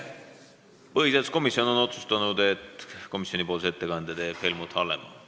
Põhiseaduskomisjon on otsustanud, et komisjoni ettekande teeb Helmut Hallemaa.